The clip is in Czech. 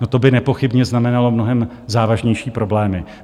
No to by nepochybně znamenalo mnohem závažnější problémy.